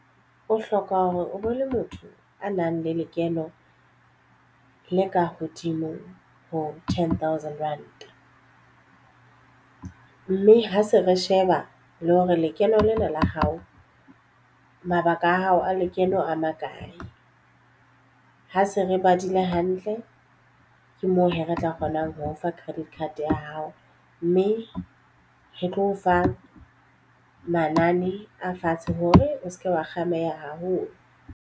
O hloka hore o bo le motho a nang le lekeno le ka hodimo ho ten thousand rand mme ha se re sheba le hore lekeno lena la hao mabaka a hao a lekeno a makae ha se re badile hantle ke moo hee re tla kgonang ho o fa credit card ya hao mme re tlo o fa manane a fatshe hore o se ke wa kgameha haholo.